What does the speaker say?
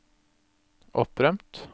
opprømt